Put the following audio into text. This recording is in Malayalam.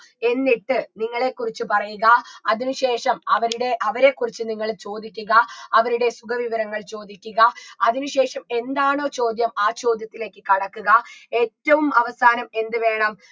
എന്നിട്ട് നിങ്ങളെക്കുറിച്ച് പറയുക അതിന് ശേഷം അവരുടെ അവരെക്കുറിച്ച് നിങ്ങൾ ചോദിക്കുക അവരുടെ സുഖവിവരങ്ങൾ ചോദിക്കുക അതിന് ശേഷം എന്താണോ ചോദ്യം ആ ചോദ്യത്തിലേക്ക് കടക്കുക ഏറ്റവും അവസാനം എന്ത് വേണം